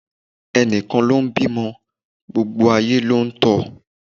Ẹni kan ló ń bímọ, gbogbo ayéló ń tọ́ ọ.